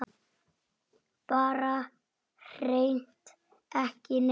Bara hreint ekki neitt.